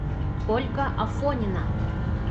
ольга афонина